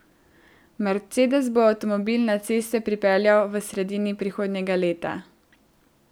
Mercedes bo avtomobil na ceste pripeljal v sredini prihodnjega leta.